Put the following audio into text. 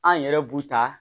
An yɛrɛ b'u ta